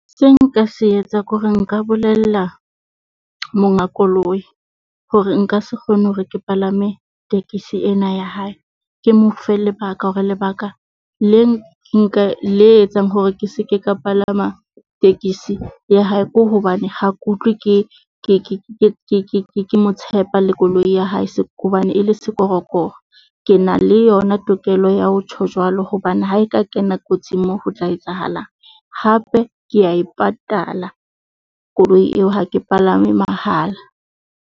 Se nka se etsa ke hore nka bolella monga koloi hore nka se kgone hore ke palame tekesi ena ya hae. Ke mo fe lebaka hore lebaka le nka le etsang hore ke se ke ka palama tekesi ya hae, ke hobane ha ke utlwe ke mo tshepa le koloi ya hae. Hobane e le sekorokoro, ke na le yona tokelo ya ho tjho jwalo hobane ha e ka kena kotsing moo ho tlo etsahalang? Hape ke a e patala koloi eo ha ke palame mahala.